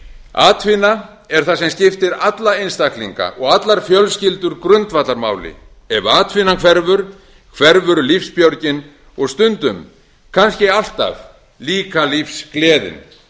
atvinna er það sem skiptir alla einstaklinga og allar fjölskyldur grundvallarmáli ef atvinnan hverfur hverfur lífsbjörgin og stundum kannski alltaf líka lífsgleðin